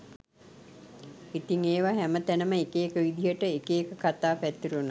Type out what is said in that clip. ඉතිං ඒව හැම තැනම එක එක විදියට එක එක කතා පැතිරුණා